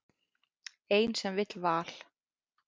Ein sem vill val.